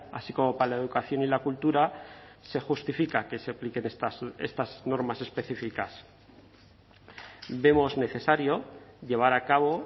así como para la educación y la cultura se justifica que se apliquen estas normas específicas vemos necesario llevar a cabo